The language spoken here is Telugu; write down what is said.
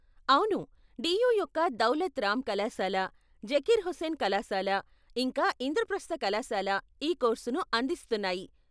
అవును, డీయూ యొక్క దౌలత్ రామ్ కళాశాల, జకీర్ హుస్సేన్ కళాశాల, ఇంకా ఇంద్రప్రస్థ కళాశాల ఈ కోర్సును అందిస్తున్నాయి.